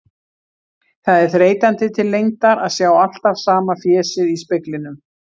Það er þreytandi til lengdar að sjá alltaf sama fésið í speglinum.